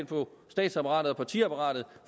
på statsapparatet og partiapparatet